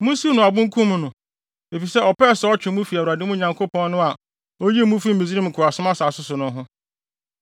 Munsiw no abo nkum no, efisɛ ɔpɛɛ sɛ ɔtwe mo fi Awurade, mo Nyankopɔn no, a oyii mo fii Misraim nkoasom asase so no ho.